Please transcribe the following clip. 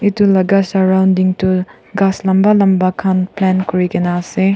edu laga surrounding tu ghas lamba lamba khan plant kuri gina ase.